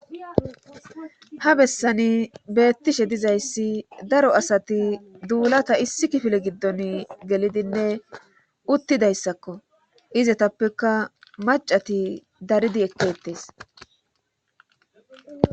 ha bessani beettishe dizayssi daro asati duulata issi kifile giddon gelidinne uttidayssakko izatappeka macati daridi ekkettes